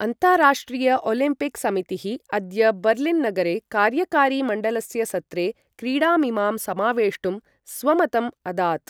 अन्ताराष्ट्रिय ओलम्पिक् समितिः अद्य बर्लिन् नगरे कार्यकारि मण्डलस्य सत्रे क्रीडामिमां समावेष्टुं स्वमतम् अदात्।